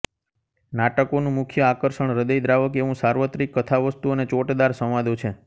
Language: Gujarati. નાટકોનું મુખ્ય આકર્ષણ હૃદયદ્રાવક એવું સાર્વત્રિક કથાવસ્તુ અને ચોટદાર સંવાદો છે